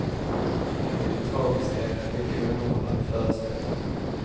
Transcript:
Mitt i det tragiska är det en mycket underhållande föreställning.